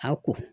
A ko